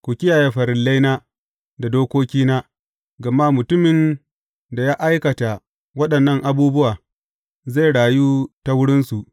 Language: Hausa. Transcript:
Ku kiyaye farillaina da dokokina, gama mutumin da ya aikata waɗannan abubuwa zai rayu ta wurinsu.